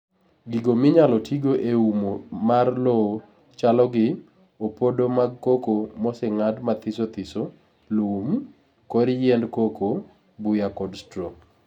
Gigo minyalo tigo e umo mar lowo chalogi: opodo mag cocoa mosengad mathisothiso, lum, kor yiend cocoa, buya kod straw.